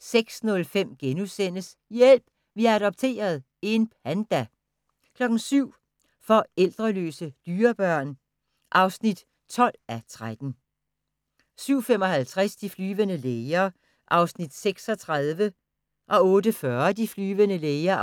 06:05: Hjælp! Vi har adopteret – en panda * 07:00: Forældreløse dyrebørn (12:13) 07:55: De flyvende læger (36:237) 08:40: De flyvende læger